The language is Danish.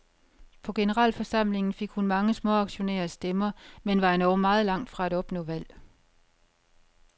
På generalforsamlingen fik hun mange småaktionærers stemmer, men var endog meget langt fra at opnå valg.